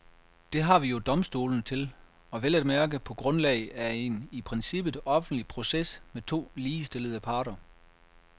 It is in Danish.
Det har vi jo domstolene til, og vel at mærke på grundlag af en i princippet offentlig proces med to ligestillede parter.